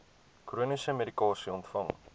chroniese medikasie ontvang